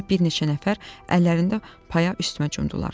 Burada bir neçə nəfər əllərində paya üstümə cumdular.